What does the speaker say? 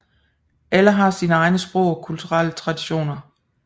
Alle har sine egne sprog og kulturelle traditioner